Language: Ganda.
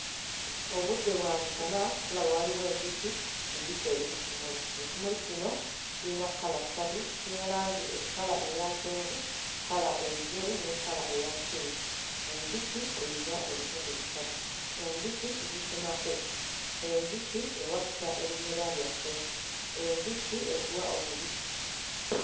Obudde bwa misana tulaba waliwo enjuki enjuki eri ku kimuli. Ekimuli kino kiyina kkala ssatu kiyina langi eh kkala eya kyenvu, kkala engeru ne kkala eya ppinki. Enjuki eyina ebitundu bisatu, enjuki tugisenako, enjuki ewakisa ebimera byaffe, enjuki etuwa omubisi.